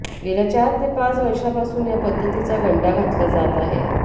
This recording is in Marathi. गेल्या चार ते पाच वर्षापासून या पद्धतीचा गंडा घातला जात आहे